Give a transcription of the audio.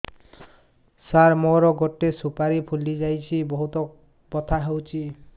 ସାର ମୋର ଗୋଟେ ସୁପାରୀ ଫୁଲିଯାଇଛି ବହୁତ ବଥା ହଉଛି